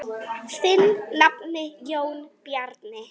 Þinn nafni, Jón Bjarni.